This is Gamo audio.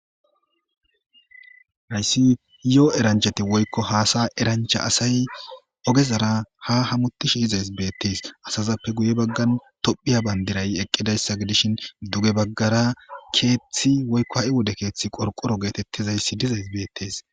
Hayssi lo7o eranchati woykko haasa erancha asay ogezara ha hamuti shi izays beettees asazappe guye baggan tophiya bandiray eqqidayssa gidishin duge baggara keeththi woykko ha7i wode keeththi qorqoro geetettizayssi dizays beettees.